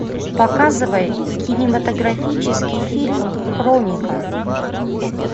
показывай кинематографический фильм хроника